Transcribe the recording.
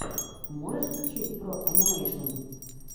можешь включить бро анимэйшн